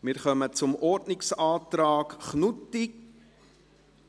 Wir kommen zum Ordnungsantrag Knutti